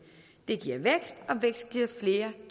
vil